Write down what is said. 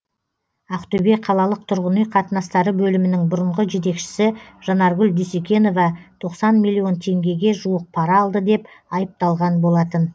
ақтөбе қалалық тұрғын үй қатынастары бөлімінің бұрынғы жетекшісі жанаргүл дүйсекенова тоқсан миллион теңгеге жуық пара алды деп айыпталған болатын